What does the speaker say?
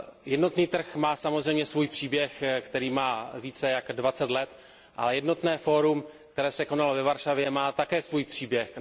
Jednotný trh má samozřejmě svůj příběh, který má více než dvacet let, a Fórum o jednotném trhu, které se konalo ve Varšavě, má také svůj příběh.